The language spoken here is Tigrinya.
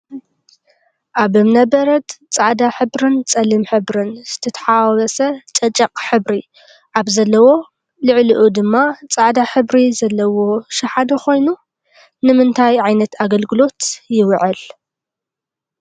ኣብ እምነ በረድ ፃዕዳ ሕብርን ፀሊም ሕብርን ዝትሓዋወሰ ጨጨቅ ሕብሪ ኣብ ዘለዎ ልዕልኡ ድማ ፃዕዳ ሕብሪ ዘለዎ ሽሓነ ኮይኑ ንምንታይ ዓይነት ኣገልግሎት ይውዕል?